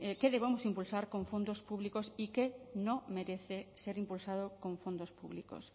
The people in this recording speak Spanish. qué debemos impulsar con fondos públicos y qué no merece ser impulsado con fondos públicos